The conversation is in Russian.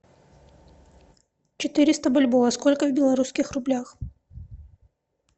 четыреста бальбоа сколько в белорусских рублях